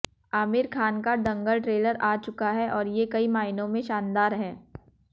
आमिर खान का दंगल ट्रेलर आ चुका है और ये कई मायनों में शानदार है